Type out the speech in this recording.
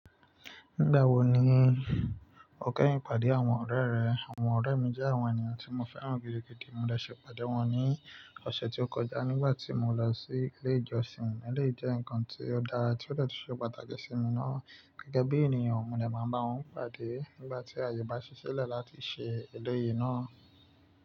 Nígbà wo ni o kẹ́yin pàdé àwọn ọ̀rẹ́ rẹ? Àwọn ọ̀rẹ́ mi jẹ́ àwọn ènìyàn tí mo fẹ́ràn gidigidi. Mo dẹ́ ṣe pàdé wọn ní ọ̀sẹ̀ tí ó kọjá nígbà tí mo lọ sí ilé ìjọsìn. Eleyi jẹ́ ǹkan tí ó dára tí ó de tun ṣe pàtàkì sí mi ná. Gẹ́gẹ́ bí ènìyàn, mo dè máa bá wọn pàdé nígbà tí àyè bá ṣi ṣile láti ṣe èleyìí ná.